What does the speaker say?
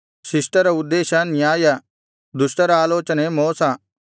ಶಿಷ್ಟರ ಉದ್ದೇಶ ನ್ಯಾಯ ದುಷ್ಟರ ಆಲೋಚನೆ ಮೋಸ